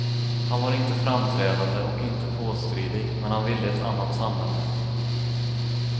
Han var inte framträdande och inte påstridig men han ville ett annat samhälle.